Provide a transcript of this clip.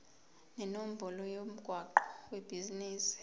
nenombolo yomgwaqo webhizinisi